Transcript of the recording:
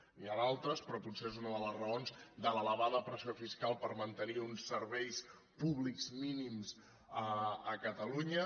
n’hi ha d’altres però potser és una de les raons de l’elevada pressió fiscal per mantenir uns serveis públics mínims a catalunya